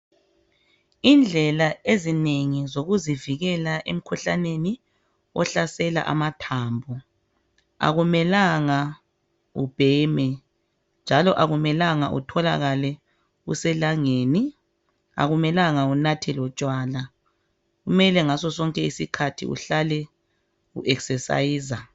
Indlela ezinengi zokuzivikela emkhuhlaneni ohlasela amathambo akumelanga ubheme njalo akumelanga utholakale uselangeni akumelanga unathe lotshwala. Kumele ngasosonke isikhathi uhlale uesesayiza.